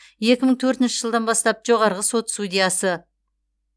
екі мың төртінші жылдан бастап жоғарғы сот судьясы